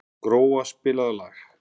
Gróa, spilaðu lag.